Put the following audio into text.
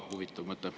Ka huvitav mõte.